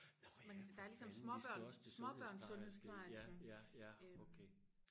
men der er ligesom småbørn småbørns sundhedsplejersken